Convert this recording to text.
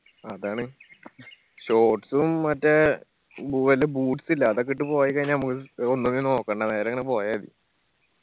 അതാണ് shorts ഉം മറ്റേ ബൂ വെല്ല boots ഇല്ലെ അതൊക്കെ ഇട്ട് പോയി കയിഞ്ഞ നമ്മക്ക് ഒന്നിനും നോക്കണ്ട നേരെ അങ്ങന പോയാ മതി